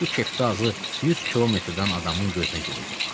Bu kepqa azı 100 kilometrdən adamın gözünə girirdi.